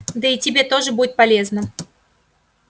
да и тебе тоже будет полезно